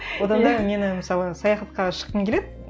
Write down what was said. одан да мені мысалы саяхатқа шыққым келеді